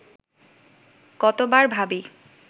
কতবার ভাবি